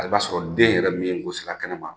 A i b'a sɔrɔ den yɛrɛ min ye niko sera kɛnɛ ma